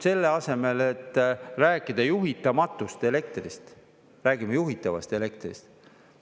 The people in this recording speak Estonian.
Selle asemel, et rääkida juhitamatust elektrist, räägime juhitavast elektrist.